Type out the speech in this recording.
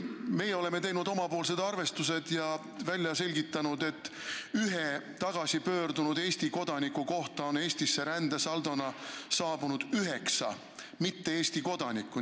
Meie oleme teinud oma arvestused ja välja selgitanud, et ühe tagasipöördunud Eesti kodaniku kohta on Eestisse saabunud üheksa mittekodanikku.